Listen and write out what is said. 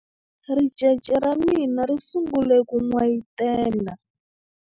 ricece ra mina ri sungule ku n'wayitela